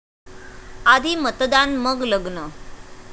आधी मतदान मग लग्न!